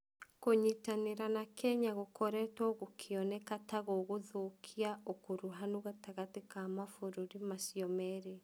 Kũnyitanĩra na Kenya gũkoretwo gukioneka ta gũkũthũkia ũkuruhanu gatagatĩ ka mavũrũri macio merĩ.